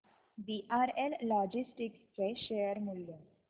VRL logistics चे share मूल्य